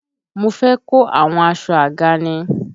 Mo fé kò àwọn aṣọ àga ni.